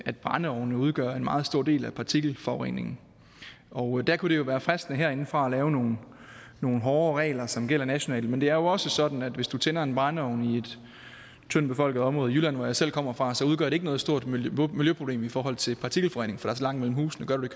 at brændeovne udgør en meget stor del af partikelforureningen og der kunne det jo være fristende herindefra at lave nogle nogle hårde regler som gælder nationalt men det er jo også sådan at hvis du tænder en brændeovn i et tyndtbefolket område i jylland hvor jeg selv kommer fra så udgør det ikke noget stort miljøproblem i forhold til partikelforurening fordi der er så langt mellem husene gør du